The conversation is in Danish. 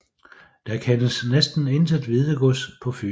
Der kendes næsten intet Hvidegods på Fyn